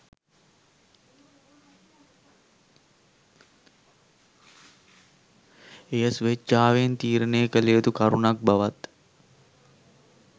එය ස්වේච්ඡාවෙන් තීරණය කළ යුතු කරුණක් බවත්